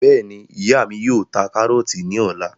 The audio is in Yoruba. Bẹ́ẹ̀ni, ìyá mí yóò ta karọọti ní ọ̀la